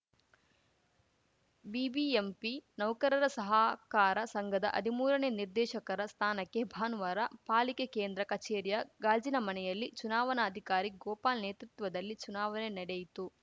BBMP ನೌಕರರ ಸಹಕಾರ ಸಂಘದ ಹದಿಮೂರನೇ ನಿರ್ದೇಶಕರ ಸ್ಥಾನಕ್ಕೆ ಭಾನುವಾರ ಪಾಲಿಕೆ ಕೇಂದ್ರ ಕಚೇರಿಯ ಗಾಜಿನ ಮನೆಯಲ್ಲಿ ಚುನಾವನಾಧಿಕಾರಿ ಗೋಪಾಲ್‌ ನೇತೃತ್ವದಲ್ಲಿ ಚುನಾವನೆ ನಡೆಯಿತು